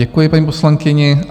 Děkuji paní poslankyni.